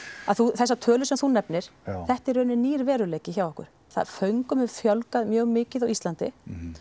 að þessar tölur sem þú nefnir þetta er í rauninni nýr veruleiki hjá okkur föngum hefur fjölgað mjög mikið á Íslandi